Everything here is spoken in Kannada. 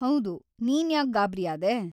ಹೌದು, ನೀನ್ಯಾಕ್ ಗಾಬ್ರಿಯಾದೆ?